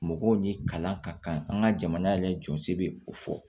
Mɔgɔw ni kalan ka kan an ka jamana yɛrɛ jɔsiri bɛ o fɔ